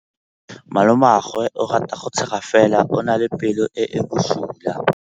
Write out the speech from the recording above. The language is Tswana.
Malomagwe o rata go tshega fela o na le pelo e e bosula.